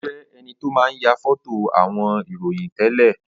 Ó jẹ enito máa ń ya foto àwọn ìròyìn tẹ́lẹ̀